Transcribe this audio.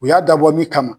U y'a dabɔ min kama